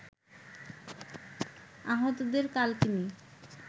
আহতদের কালকিনি